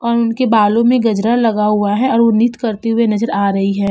और उनके बालों में गजरा लगा हुआ है और वो नृत्य करते हुए नजर आ रही हैं।